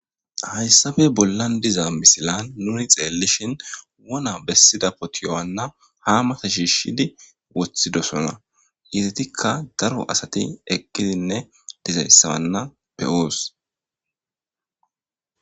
Hayssappe bollan diza missilan nuni xellishin woona bessida potiyo haana ha mata shishidi woththidoson heggetika daaro asati eqqi dizayssa hana be'oos.